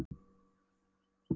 Ég fór að vinna á skrifstofu.